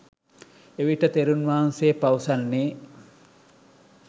එවිට තෙරුන් වහන්සේ පවසන්නේ